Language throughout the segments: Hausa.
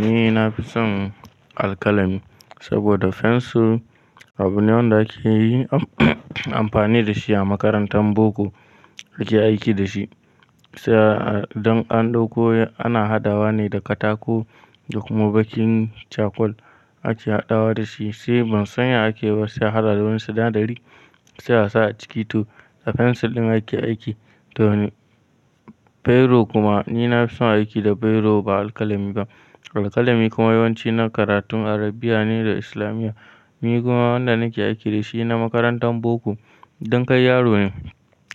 Ni na fi son alkalami saboda fensir abu ne wanda ake yi amfani da shi a makarantar boko ake aiki da shi. Sai don an ɗauko ana hadawa ne da katako da kuma bakin cakul ake haɗawa da shi. Sai ban san ya ake wasu haradun su na dari sai a sa a ciki to da fensir ɗin ake aiki. To ni biro kuma ni na fi son aiki da biro ba alkalami ba. Alkalami kuma yawanci na karatun Arabiya ne da islamiya. Ni kuma wanda nake aiki da shi na makarantar boko. Idan kai yaro ne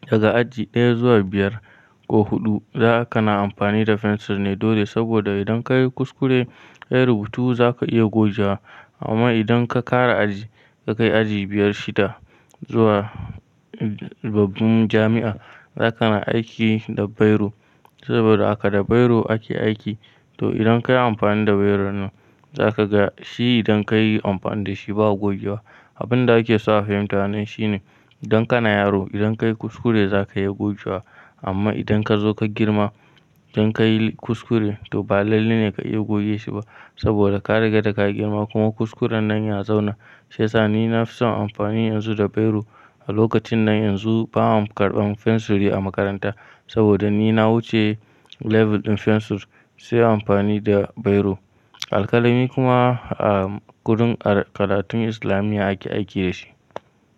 daga aji ɗaya zuwa biyar ko huɗu za ka na amfani da fensir ne dole saboda idan ka yi kuskure, ka yi rubutu za ka iya goge. Amma idan ka ƙara aji, ka kai aji biyar shida zuwa babban jami'a za ka na aiki da biro saboda haka da biro ake aiki. To idan kayi amfani da biro nan za ka ga shi idan kayi amfani da shi ba a gogewa. Abin da ake sa fa fahimta nan shine idan kana yaro idan ka yi kuskure za ka iya goge wa. Amma idan ka zo ka girma idan kayi kuskure to ba lalle ne ka iya goge shi ba saboda ka riga da ka girma kuma kuskuren nan ya zauna. Sai sa ni na fi son amfani yanzu da biro. A lokacin nan yanzu ba'a karɓan fensiri a makaranta saboda ni na wuce level ɗin fensir sai amfani da biro. Alkalami kuma a gurun karatun islamiya ake aiki da shi.